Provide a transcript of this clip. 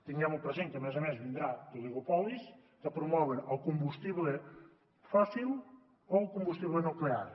tinguem ho present perquè a més a més vindran oligopolis que promouen el combustible fòssil o el combustible nuclear